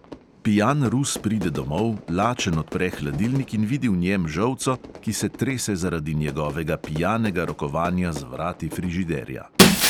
Pijan rus pride domov, lačen odpre hladilnik in vidi v njem žolco, ki se trese zaradi njegovega pijanega rokovanja z vrati frižiderja.